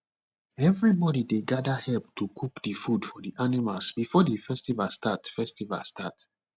everybody dey gather help to cook the food for the animals before the festival start festival start